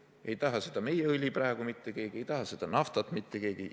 Ei taha seda meie õli praegu mitte keegi, ei taha seda naftat mitte keegi.